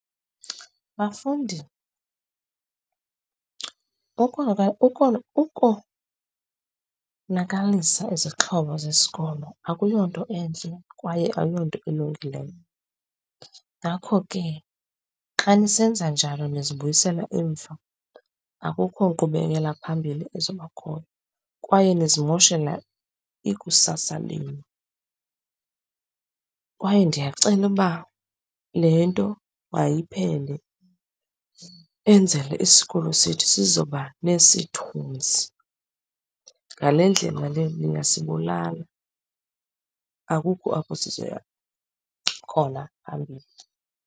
Bafundi, ukonakalisa izixhobo zesikolo akuyonto entle kwaye ayonto ilungileyo. Ngakho ke, xa nisenza njalo nizibuyisela emva, akukho nkqubekela phambili ezobakhona kwaye nizimoshela ikusasa lenu. Kwaye ndiyacela uba le nto mayiphele, enzele isikolo sethu sizoba nesithunzi. Ngale ndlela le niyasibulala, akukho apho sizoya khona phambili.